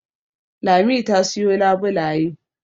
Lami ta siyo labulaye